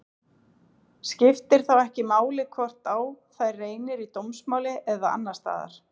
Skiptir þá ekki máli hvort á þær reynir í dómsmáli eða annars staðar.